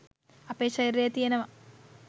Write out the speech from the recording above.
අපේ ශරීරයේ තියෙනවා